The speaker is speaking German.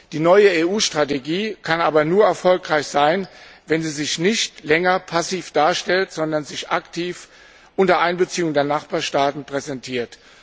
Die neue EU Strategie kann aber nur erfolgreich sein, wenn sie sich nicht länger passiv darstellt, sondern sich aktiv unter Einbeziehung der Nachbarstaaten präsentiert.